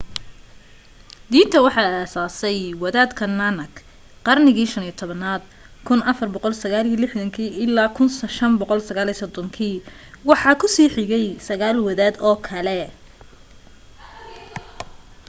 diinta waxa asaasay wadaadka nanak qarnigii 15aad 1469-1539. waxa ku sii xigay sagaal wadaad oo kale